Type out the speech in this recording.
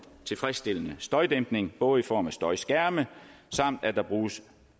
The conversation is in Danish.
tilfredsstillende støjdæmpning både i form af støjskærme samt at der bruges